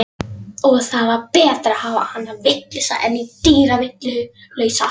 Og það var betra að hafa hana vitlausa en dýrvitlausa.